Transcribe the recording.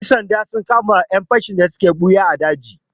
Ƴan sanda sun kama ƴan fashi da suke ɓuya a daji.